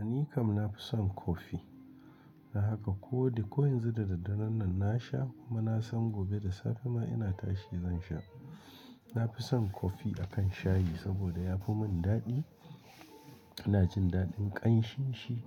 A ni kam nafi son kofi. Na haka ko duk, ko yanzu da daddaren nan na sha kuma na san gobe da safe ma ina tashi zan sha. Nafi son kofi akan shayi saboda yafi mun daɗi. Ina jin daɗin ƙanshin shi